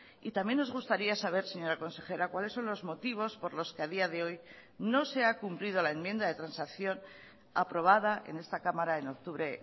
y también nos gustaría saber señora consejera cuáles son los motivos por los que a día de hoy no se ha cumplido la enmienda de transacción aprobada en esta cámara en octubre